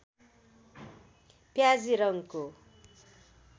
प्याजी रङ्गको